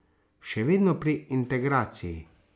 Še vedno pri integraciji.